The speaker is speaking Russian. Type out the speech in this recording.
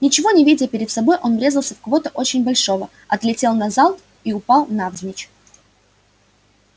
ничего не видя перед собой он врезался в кого-то очень большого отлетел назад и упал навзничь